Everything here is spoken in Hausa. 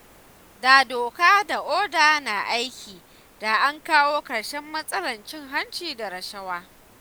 Da doka da oda na aiki da an kawo ƙarshen matsalar cin hanci da rashawa.